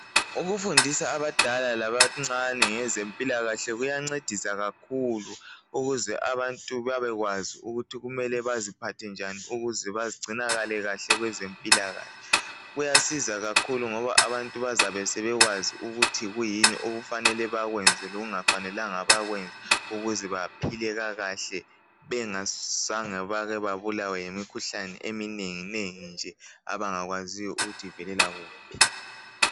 Ukufundisa abadala labancane ngezempilakahle kuyancedisa kakhulu ukuze abantu babekwazi ukuthi kumele baziphathe njani ukuze bagcinakale kahle kwezempilakahle. Kuyasiza kakhulu ngoba abantu bazabe sebekwazi ukuthi kuyini okufanele bakwenze lokungafanelanga bakwenze ukuze baphile kakahle bengazange bake babulawe yimikhuhlane eminenginengi nje abangakwaziyo ukuthi ivelela kuphi.